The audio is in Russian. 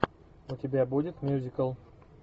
у тебя будет мюзикл